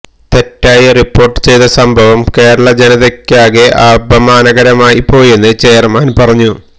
തെറ്റായി റിപ്പോർട്ട് ചെയ്ത സംഭവം കേരള ജനതയ്ക്കാകെ അപമാനകരമായിപ്പോയെന്ന് ചെയർമാൻ പറഞ്ഞു